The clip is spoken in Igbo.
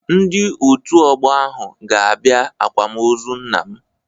Ndị Òtù Ọgbọ ahụ ga-abịa àkwámoozu nna m.